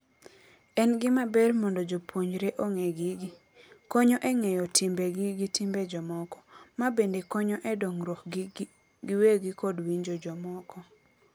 En gima ber mondo jopuonjre ong'e gigi. Konyo e ng'eyo timbe gi gi timbe jomoko. Ma bende konyo e dongruok gi giwegi kod winjo jomoko .